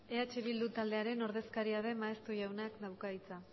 eh bildu taldearen ordezkaria den maeztu jaunak dauka hitza